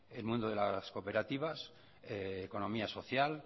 el mundo de las cooperativas economía social